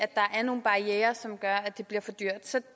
der er nogle barrierer som gør at det bliver for dyrt så